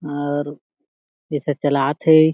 और जैसे चलात हे।